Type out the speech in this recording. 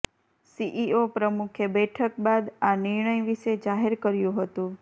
CEO પ્રમુખે બેઠક બાદ આ નિર્ણય વિશે જાહેર કર્યું હતું